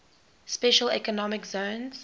special economic zones